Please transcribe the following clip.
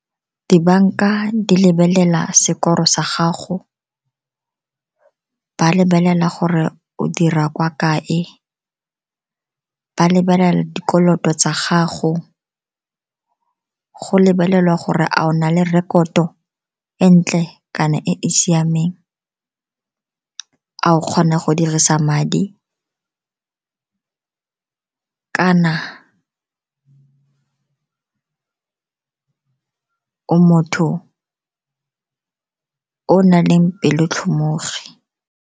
Dibanka di lebelela sekoro sa gago, ba lebelela gore o dira kwa kae, ba lebelela dikoloto tsa gago, go lebelelwa gore a o na le rekoto e e ntle kana e e siameng, a o kgona go dirisa madi, kana motho o naleng pelo tlhomogi.